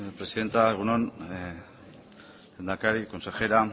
presidenta egun on lehendakari consejera